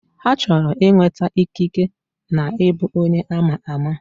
Ha chọrọ inweta ikike na ịbụ onye ama ama